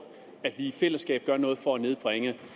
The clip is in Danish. at vi i fællesskab gør noget for at nedbringe